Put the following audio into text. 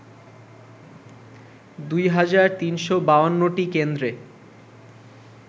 ২ হাজার ৩৫২টি কেন্দ্রে